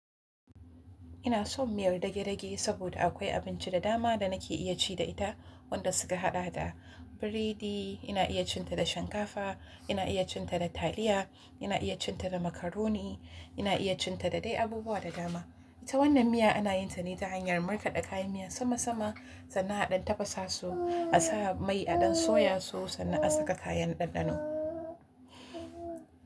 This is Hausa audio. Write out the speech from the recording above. Ina son miyar dage-dage saboda akwai abinci da dama da nake iya ci da ita. Wanda suka haɗa da biredi, ina iya cin ta da shinkafa, ina iya cin ta da taliya, ina iya cin ta da macaroni, ina iya cin ta da dai abubuwa da dama. Ita wannan miyar anayintane ta hanyar markada kayan miya sama sama sannan adan tafasa su asa mai adan soyasu sannan asaka kayan dandano,